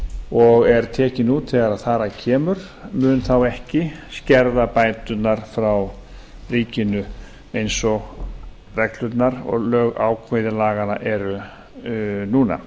og er tekinn út þegar þar að kemur mun þá ekki skerða bæturnar frá ríkinu eins og reglurnar og ákvæði laganna eru núna